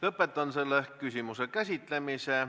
Lõpetan selle küsimuse käsitlemise.